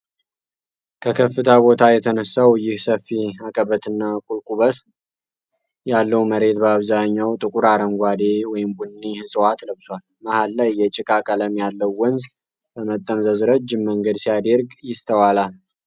ከከፍታ ቦታ የተነሳው ይህ ሰፊ አቀበትና ቁልቁበት ያለው መሬት በአብዛኛው ጥቁር አረንጓዴ/ቡኒ እፅዋት ለብሷል። መሀል ላይ የጭቃ ቀለም ያለው ወንዝ በመጠምዘዝ ረጅም መንገድ ሲያደርግ ይስተዋላል።